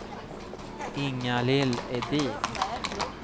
Inga-Lill Edin